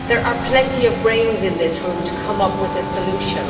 There are plenty of brains in this room to come up with a solution.